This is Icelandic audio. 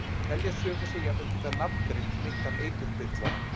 Telja sumir sig jafnvel geta nafngreint meintan eiturbyrlara.